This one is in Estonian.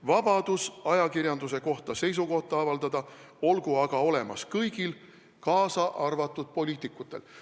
Vabadus ajakirjanduse kohta seisukohta avaldada olgu aga olemas kõigil, kaasa arvatud poliitikutel.